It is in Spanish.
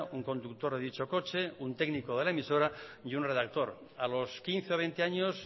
un conductor de dicho coche un técnico de la emisora y un redactor a los quince veinte años